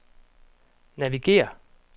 navigér